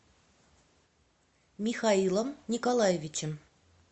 михаилом николаевичем